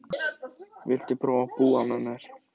Viltu prófa að búa með mér.